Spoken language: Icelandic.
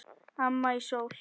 Amma í Sól.